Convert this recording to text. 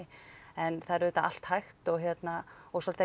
en það er auðvitað allt hægt og hérna og svolítið